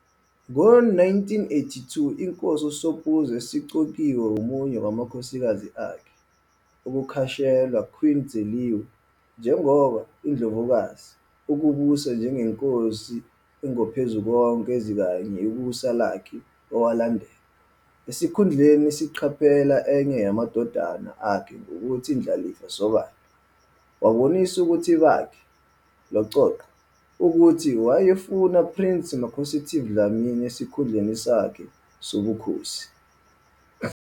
Ngo-1982 inkosi uSobhuza esiqokiwe omunye kwamakhosikazi akhe, ukukhashelwa Queen Dzeliwe, njengoba "Indlovukati" ukubusa njengenkosi eNgophezukonke ezikanye ikusasa lakhe owalandela. Esikhundleni siqaphela enye yamadodana akhe ngokuthi indlalifa sobala, wabonisa ukuthi bakhe "Loqoqo" ukuthi wayefuna Prince Makhosetive Dlamini esikhundleni sakhe sobukhosi.